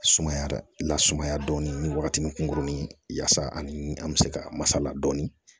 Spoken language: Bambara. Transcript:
Sumaya lasumaya dɔɔnin ni wagatinin kunkurunin yaasa ani an bɛ se ka masala dɔɔnin